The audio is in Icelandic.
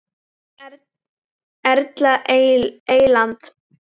Erla Eyland.